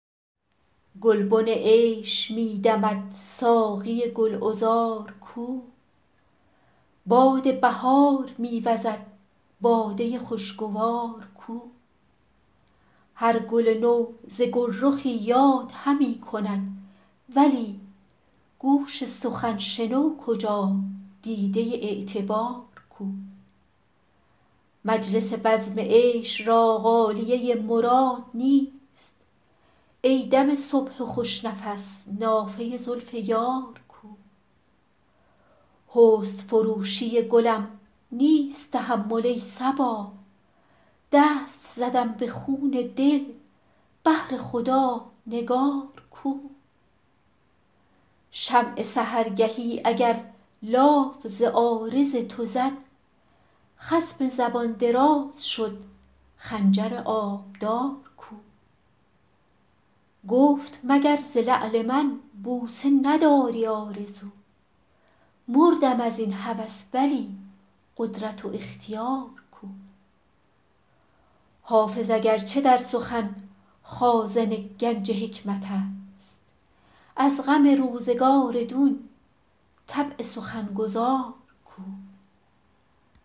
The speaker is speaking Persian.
گلبن عیش می دمد ساقی گل عذار کو باد بهار می وزد باده خوش گوار کو هر گل نو ز گل رخی یاد همی کند ولی گوش سخن شنو کجا دیده اعتبار کو مجلس بزم عیش را غالیه مراد نیست ای دم صبح خوش نفس نافه زلف یار کو حسن فروشی گلم نیست تحمل ای صبا دست زدم به خون دل بهر خدا نگار کو شمع سحرگهی اگر لاف ز عارض تو زد خصم زبان دراز شد خنجر آبدار کو گفت مگر ز لعل من بوسه نداری آرزو مردم از این هوس ولی قدرت و اختیار کو حافظ اگر چه در سخن خازن گنج حکمت است از غم روزگار دون طبع سخن گزار کو